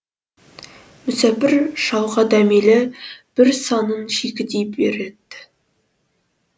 мүсәпір шалға дәмелі бір санын шикідей береді